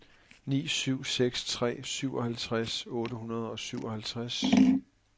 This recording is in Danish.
ni syv seks tre syvoghalvtreds otte hundrede og syvoghalvtreds